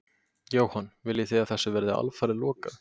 Jóhann: Viljið þið að þessu verði alfarið lokað?